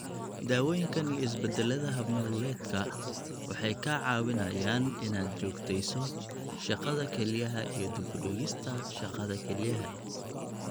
Daawooyinkan iyo isbeddellada hab-nololeedka waxay kaa caawinayaan inaad joogteyso shaqada kelyaha iyo dib u dhigista shaqada kelyaha.